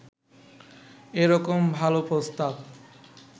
এরকম ভালো প্রস্তাব